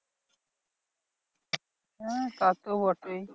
হ্যাঁ তা তো বটেই।